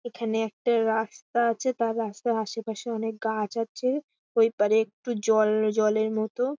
এখানে একটা রাস্তা আছে তার রাস্তার আশেপাশে অনেক গাছ আছে। ঐপারে একটু জল জলের মতো--